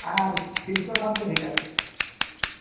আর ভিতরে